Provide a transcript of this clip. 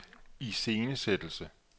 iscenesættelse